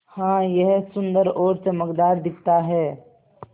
हाँ यह सुन्दर और चमकदार दिखता है